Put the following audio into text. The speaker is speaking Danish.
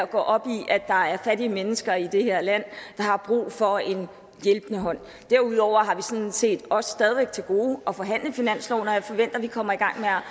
gå op i at der er fattige mennesker i det her land der har brug for en hjælpende hånd derudover har vi sådan set også stadig væk til gode at forhandle finansloven og jeg forventer at vi kommer i